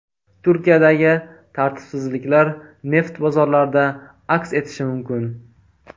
Turkiyadagi tartibsizliklar neft bozorlarida aks etishi mumkin.